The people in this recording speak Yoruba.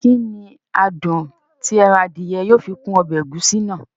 Kí ní adùn tí ẹran Adìẹ yóò fi kún ọbẹ̀ ẹ̀gúsí náà?